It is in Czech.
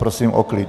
Prosím o klid!